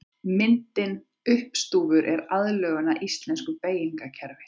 Myndin uppstúfur er aðlögun að íslensku beygingarkerfi.